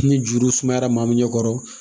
Ni juru sumayara maa min ɲɛ kɔrɔ